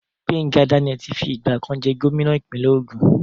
Gbenga Daniel ti fi ìgbà kan jẹ́ gómìnà ìpínlẹ̀ Ògùn.